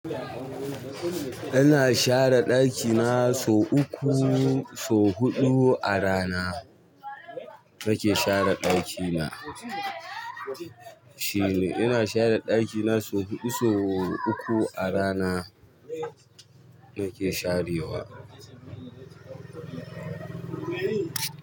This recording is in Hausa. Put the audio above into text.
Ina share ɗakina sau uku, sau huɗu a rana nake share ɗakina. Shine. Ina share ɗakina sau huɗu, sau uku a rana nake sharewa.